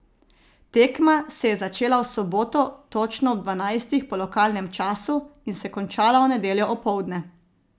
Tekma se je začela v soboto točno ob dvanajstih po lokalnem času in se končala v nedeljo opoldne.